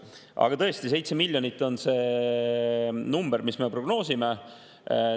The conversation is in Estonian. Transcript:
Aga tõesti, me prognoosime selleks numbriks 7 miljonit.